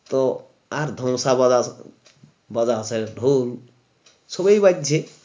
তো আর ধমসা বরাস বাজা আছে ঢোল সবই বাজছে